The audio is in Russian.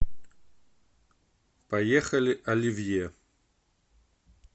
поехали оливье